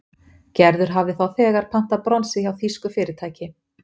Gerður hafði þá þegar pantað bronsið hjá þýsku fyrirtæki.